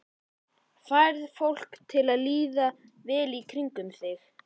Færð fólk til að líða vel í kringum þig?